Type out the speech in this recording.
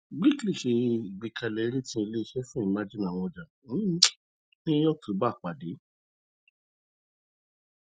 brics le se igbekale rating ile ise fun emerging awọn ọja um ni october pade